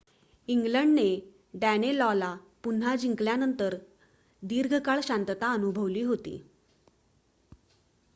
इंग्लंडने डॅनेलॉला पुन्हा जिंकल्यानंतर दीर्घकाळ शांतता अनुभवली होती